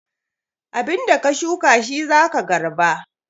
Abin da ka shuka shi za ka garba